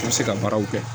I bɛ se ka baaraw kɛ